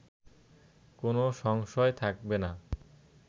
কোনো সংশয় থাকবে না